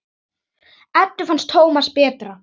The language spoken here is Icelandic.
Eddu fannst Tómas betra.